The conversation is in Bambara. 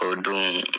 O don